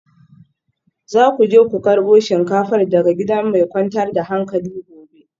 Za ku je ku karbo shinkafar daga gida mai kwantar da hankali gobe